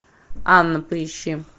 анна поищи